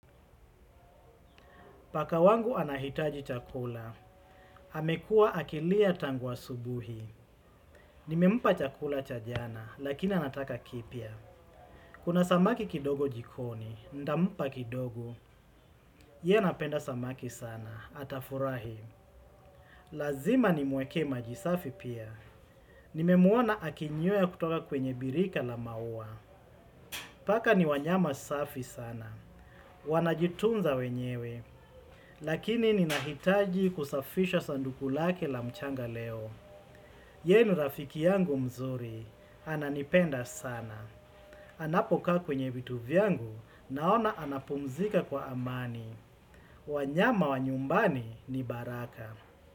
Paka wangu anahitaji chakula. Amekuwa akilia tangu asubuhi. Nimempa chakula cha jana, lakini anataka kipya. Kuna samaki kidogo jikoni, nitampa kidogo. Yeye anapenda samaki sana, atafurahi. Lazima nimwekee maji safi pia. Nimemuona akinywea kutoka kwenye birika la maua. Paka ni wanyama safi sana. Wanajitunza wenyewe. Lakini ninahitaji kusafisha sanduku lake la mchanga leo. Yeye ni rafiki yangu mzuri. Ananipenda sana. Anapokaa kwenye vitu vyangu naona anapumzika kwa amani. Wanyama wa nyumbani ni baraka.